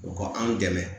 U ka anw dɛmɛ